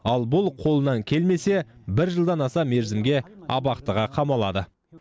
ал бұл қолынан келмесе бір жылдан аса мерзімге абақтыға қамалады